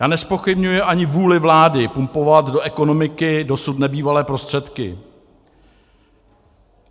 Já nezpochybňuji ani vůli vlády pumpovat do ekonomiky dosud nebývalé prostředky.